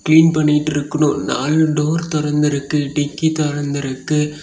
Clean பண்ணிட்டு இருக்குறனு நாலு டோர் தொறந்து இருக்கு டிக்கி தொறந்து இருக்கு.